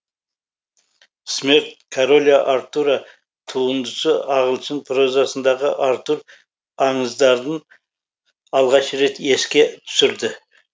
смерть короля артура туындысы ағылшын прозасындағы артур аңыздарын алғаш рет еске түсірді